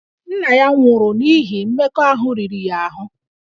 Nna ya nwụrụ n'ihi mmekọahụ riri ya ahụ